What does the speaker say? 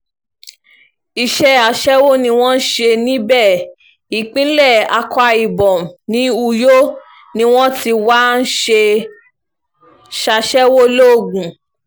iṣẹ́ aṣẹ́wó ni wọ́n ń ṣe níbẹ̀ ìpínlẹ̀ akwa ibom ní uyo ni wọ́n ti wáá ń ṣàṣẹ̀wò logun